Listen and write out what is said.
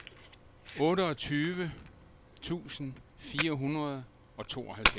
otteogtyve tusind fire hundrede og tooghalvfjerds